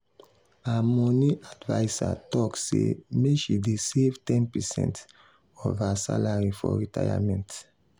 her money adviser talk say make she dey save ten percent of her salary for retirement.